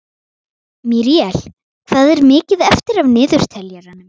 Míríel, hvað er mikið eftir af niðurteljaranum?